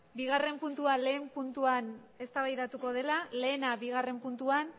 bigarren puntua lehen puntuan eztabaidatuko dela lehena bigarren puntuan